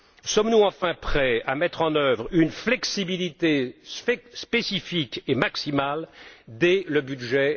Sommes nous enfin prêts à mettre en œuvre une flexibilité spécifique et maximale dès le budget